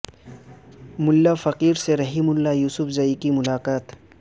ملا فقیر سے Rahimullah Yusufzai کی ملاقات